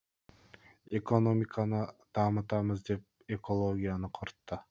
экономиканы дамытамыз деп экологияны құртты